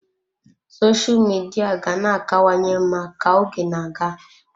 Sosha Midia ga na-akawanye mma ka oge na-aga.